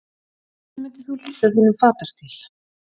Hvernig myndir þú lýsa þínum fatastíl?